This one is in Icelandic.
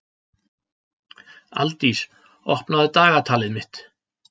Aldís, opnaðu dagatalið mitt.